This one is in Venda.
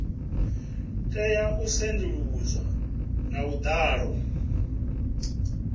tea u sedzuluswa nga vhuḓalo